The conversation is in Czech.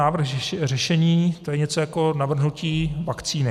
Návrh řešení, to je něco jako navržení vakcíny.